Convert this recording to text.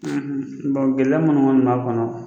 gɛlɛya minnu kɔni b'a kɔnɔɔ.